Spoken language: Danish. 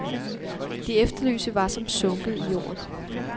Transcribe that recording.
De efterlyste var som sunket i jorden.